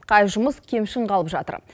қай жұмыс кемшін қалып жатыр